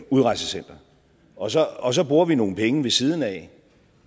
udrejsecenter og så og så bruger vi nogle penge ved siden af